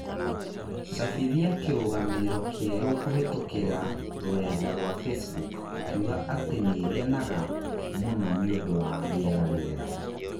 cabithia kĩrũgamĩrĩro kierũ kũhītũkīra rũrenda rũa facebook ukiuga atĩ nĩ ngenaga nĩ ngenaga mũno nĩ ũndũ wa rĩera rĩega